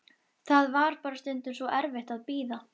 Það var bara stundum svo erfitt að bíða.